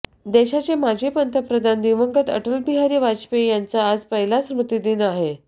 देशाचे माजी पंतप्रधान दिवंगत अटलबिहारी वाजपेयी यांचा आज पहिला स्मृतिदिन आहे